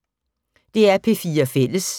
DR P4 Fælles